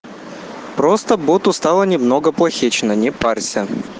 просто бот устала немного плахично не парься